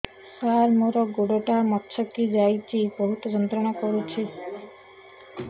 ସାର ମୋର ଗୋଡ ଟା ମଛକି ଯାଇଛି ବହୁତ ଯନ୍ତ୍ରଣା କରୁଛି